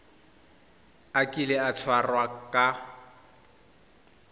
a kile a tshwarwa ka